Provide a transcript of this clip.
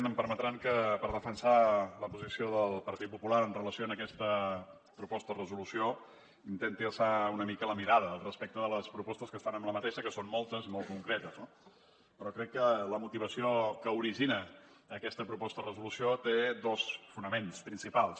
em permetran que per defensar la posició del partit popular amb relació a aquesta proposta de resolució intenti alçar una mica la mirada respecte de les propostes que s’hi fan que són moltes i molt concretes no però crec que la motivació que origina aquesta proposta de resolució té dos fonaments principals